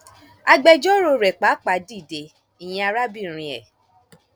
agbẹjọrò rẹ pàápàá dìde ìyẹn arábìnrin e